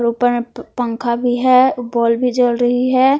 ऊपर में प पंखा भी है बल्ब भी जल रही है।